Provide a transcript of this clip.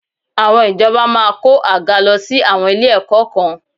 Àwọn ìjọba máa kó àga lọ sí àwọn ilé-ẹ̀kọ́ kan